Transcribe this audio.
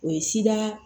O ye sida